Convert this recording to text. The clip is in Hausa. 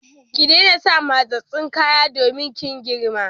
Ki daina sa matsatstsun kaya domin kin girma!